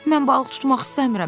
Mən balıq tutmaq istəmirəm.